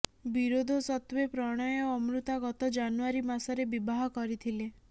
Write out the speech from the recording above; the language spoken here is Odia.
ବିରୋଧ ସତ୍ତେ୍ୱ ପ୍ରଣୟ ଓ ଅମୃତା ଗତ ଜାନୁଆରୀ ମାସରେ ବିବାହ କରିଥିଲେ